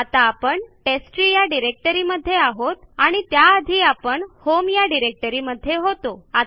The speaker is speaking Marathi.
आता आपण टेस्टट्री या डिरेक्टरी मध्ये आहोत आणि त्या आधी आपण होम या डिरेक्टरीमध्ये होतो